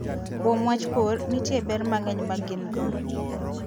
Kuom wach pur, nitie ber mang'eny ma gin go.